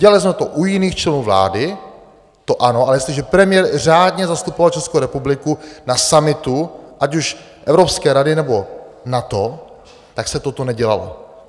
Dělali jsme to u jiných členů vlády, to ano, ale jestliže premiér řádně zastupoval Českou republiku na summitu, ať už Evropské rady nebo NATO, tak se toto nedělalo.